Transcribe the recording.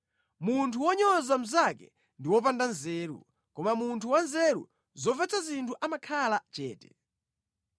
Munthu wonyoza mnzake ndi wopanda nzeru, koma munthu wanzeru zomvetsa zinthu amakhala chete.